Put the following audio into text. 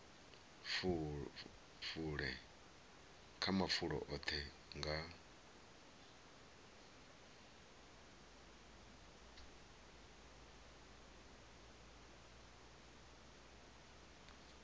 fule kha mafulo oṱhe nga